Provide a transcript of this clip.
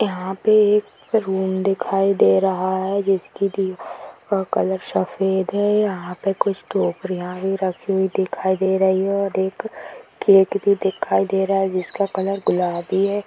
यहां पे एक रूम दिखाई दे रहा है जिसकी दीवारों का कलर सफेद है यहां पर कुछ टोकरिया भी रखी हुई दिखाई दे रही है और एक केक भी दिखाई दे रहा है जिसका कलर गुलाबी है।